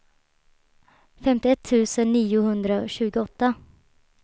femtioett tusen niohundratjugoåtta